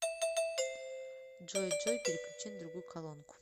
джой джой переключи на другую колонку